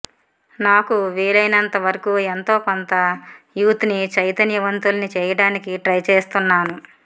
నాకు వీలైనంత వరకూ ఎంతో కొంత యూత్ ని చైతన్య వంతుల్ని చేయడానికి ట్రై చేస్తున్నాను